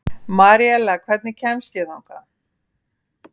Maríella, hvernig kemst ég þangað?